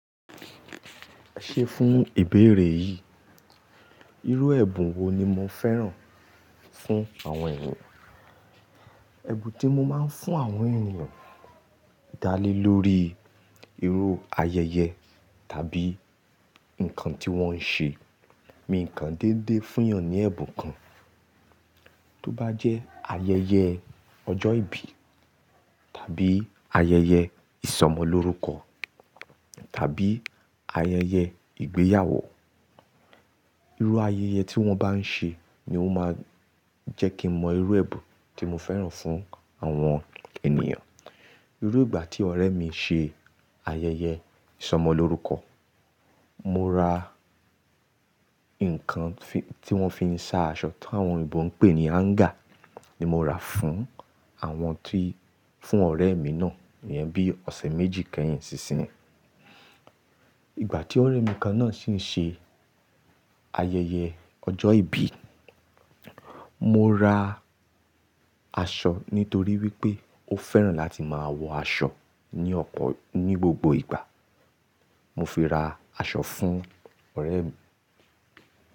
Ṣé fún ìbéèrè yìí, irú ẹ̀bùn wo ni mo fẹ́ràn fún àwọn ènìyàn? Ẹ̀bùn tí mo máa ń fún àwọn ènìyàn dá lé lórí irú ayẹyẹ tàbí nǹkan tí wọ́n ń ṣe. Mi nǹkan dédé fún èèyàn ní ẹ̀bùn kan, tó bá jẹ́ ayẹyẹ ọjọ́ ìbí tàbí ayẹyẹ ìsọmọlórúkọ tàbí ayẹyẹ ìgbéyàwó. Irú ayẹyẹ tí wọ́n bá ń ṣe ni ó máa jẹ́ kí mọ irú ẹ̀bùn tí mo fẹ́ràn fún àwọn ènìyàn. Irú ìgbà tí ọ̀rẹ́ mi ṣe ayẹyẹ ìsọmọlórúkọ, mo ra nǹkan tí wọ́n fi ń sa aṣọ tó àwọn òyìnbó ń pè ní hanger ni mo ra fún àwọn tí-- fún ọ̀rẹ́ mi náà, ìyẹn bí ọ̀sẹ̀ méjì kẹ́yìn sì sin. Ìgbà tí ọ̀rẹ́ mi kan náà sì ń ṣe ayẹyẹ ọjọ́ ìbí, mo ra aṣọ nítorí wípé ó fẹ́ràn láti máa wọ aṣọ ní ọ̀pọ̀-- ní gbogbo ìgbà. Mo fi ra aṣọ fún ọ̀rẹ́ mi.